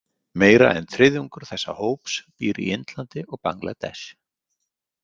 Meira en þriðjungur þessa hóps býr í Indlandi og Bangladesh.